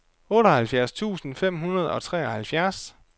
otteoghalvfjerds tusind fem hundrede og treoghalvfjerds